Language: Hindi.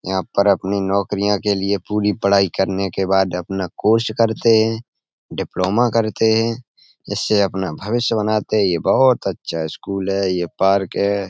यहाँ पर अपनी नौकरियां के लिए पूरी पढ़ाई करने के बाद अपना कोर्स करते हैं डिप्लोमा करते हैं। इससे अपना भविष्य बनाते हैं। ये बहुत अच्छा स्कूल है। ये पार्क है।